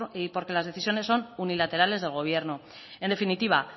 y porque las decisiones son unilaterales del gobierno en definitiva